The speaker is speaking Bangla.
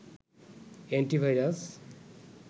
এন্টিভাইরাস